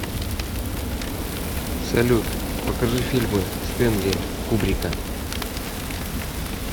салют покажи фильмы стэнли кубрика